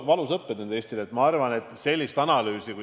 Valus õppetund Eestile!